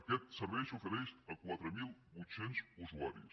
aquest servei s’ofereix a quatre mil vuit cents usuaris